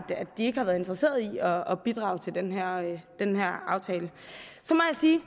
de ikke har været interesseret i at bidrage til den her aftale så må jeg sige